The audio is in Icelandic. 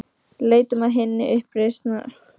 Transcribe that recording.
Leitum að hinni uppreisnargjörnu listamannslund, sem Ólafur